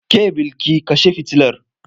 Ke Bilki kashe fitilar!